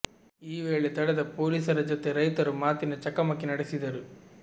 ಈ ವೇಳೆ ತಡೆದ ಪೊಲೀಸರ ಜತೆ ರೈತರು ಮಾತಿನ ಚಕಮಕಿ ನಡೆಸಿದರು